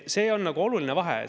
See on oluline vahe.